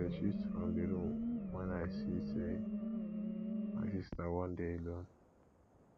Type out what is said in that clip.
i dey shift from di room wen i see sey my sista wan dey alone